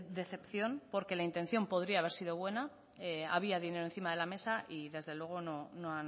decepción porque la intención podría haber sido buena había dinero encima de la mesa y desde luego no